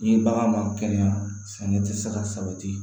Ni bagan man kɛnɛya sɛnɛ tɛ se ka sabati